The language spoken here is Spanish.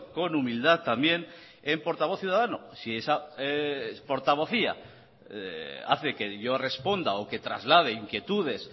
con humildad también en portavoz ciudadano si esa portavocía hace que yo responda o que traslade inquietudes